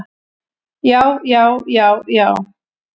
Já, já, já, já!